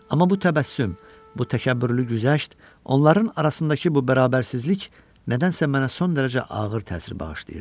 Amma bu təbəssüm, bu təkəbbürlü güzəşt, onların arasındakı bu bərabərsizlik nədənsə mənə son dərəcə ağır təsir bağışlayırdı.